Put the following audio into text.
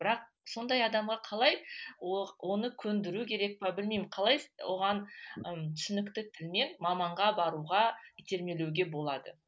бірақ сондай адамға қалай оны көндіру керек пе білмеймін қалай оған ы түсінікті тілмен маманға баруға итермелеуге болады